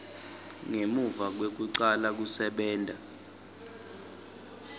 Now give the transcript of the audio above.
ngemuva kwekucala kusebenta